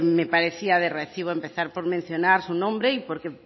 me parecía de recibo empezar por mencionar su nombre y porque